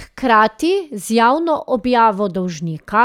Hkrati z javno objavo dolžnika